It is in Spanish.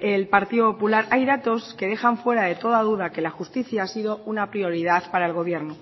el partido popular hay datos que dejan fuera de toda duda que la justicia ha sido una prioridad para el gobierno